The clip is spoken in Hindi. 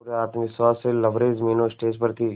पूरे आत्मविश्वास से लबरेज मीनू स्टेज पर थी